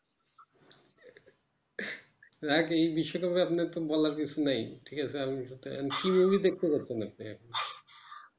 এর আগে এই বিষয়টা আপনাকে কোন কিছু বলার নেই ঠিক আছে নিয়ে আপনি কি movie দেখতে যাচ্ছেন এখন?